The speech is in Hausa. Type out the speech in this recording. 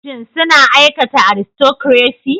Shin suna aikata aristocracy?